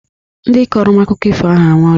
Ndị kọrọ m akụkọ ifo ahụ anwụọla